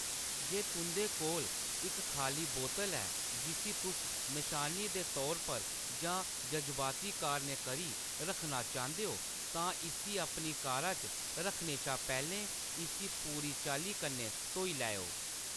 जे तुंʼदे कोल इक खाल्ली बोतल ऐ जिस्सी तुस नशानी दे तौर पर जां जजबाती कारणें करी रक्खना चांह्‌‌‌दे ओ, तां इस्सी अपनी कारा च रक्खने शा पैह्‌‌‌लें इस्सी पूरी चाल्ली कन्नै धोई लैओ।